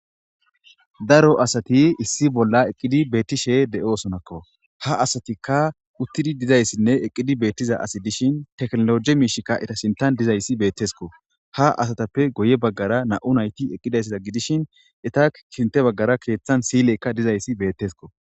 Daaro asati issi bolla eqqidi betishshe de'osonako ha asati uttidi diizayssinne eqqidi bettiza asati dishin tekkinolojje mishshayka eeta sinththan dizayssi bettesikko ha asatappe guye baggera nam'u nayti eqqidayssa gidishin eeta sinththe baggera silley diizaysi bettesiko.